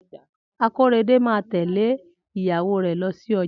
Akorede máa tẹ̀lẹ́ ìyàwó rè lọ sí ojà